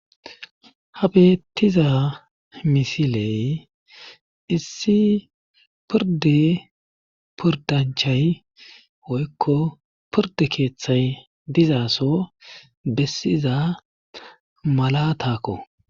ha beettiza misiley issi porde pordanchay woykko porde keeththay dizaaso bessiza mala takko